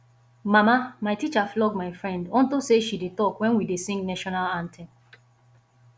mama my teacher flog my friend unto say she dey talk wen we dey sing national anthem